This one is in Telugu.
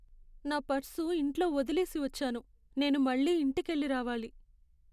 నా పర్సు ఇంట్లో వదిలేసి వచ్చాను. నేను మళ్ళీ ఇంటికెళ్ళి రావాలి.